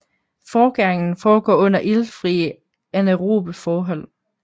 Forgæringen foregår under iltfrie anaerobe forhold